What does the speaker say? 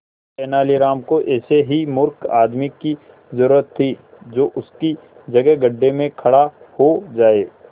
तेनालीराम को ऐसे ही मूर्ख आदमी की जरूरत थी जो उसकी जगह गड्ढे में खड़ा हो जाए